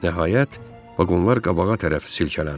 Nəhayət, vaqonlar qabağa tərəf silkələndi.